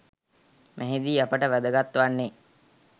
මෙහිදී අපට වැදගත් වන්නේ